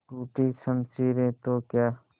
टूटी शमशीरें तो क्या